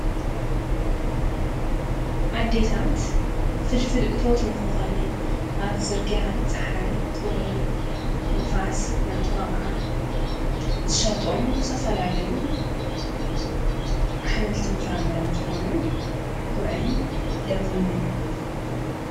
ኣዴታት ፍልፍልእቶት ንኽኾንን ኣብ ጽርጋ ፀሓይ ቁሪ ንፋስ ናተዋቕዓ ዘሸጦም ዝተፈላለዩ ኅምልቲ ምፍራ ምረም ዝኾኑ ጕዕን ለሚንን እዮም።